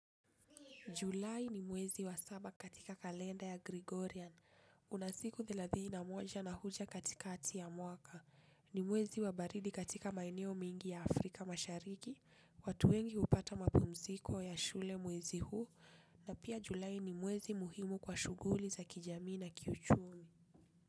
Julai ni mwezi wa saba katika kalenda ya Gregorian, unasiku theladhii na moja na huja katika ati ya mwaka, ni mwezi wa baridi katika maeneo mengi ya Afrika mashariki, watu wengi upata mapumziko ya shule mwezi huu, na pia Julai ni mwezi muhimu kwa shuguli za kijamii na kiuchumi.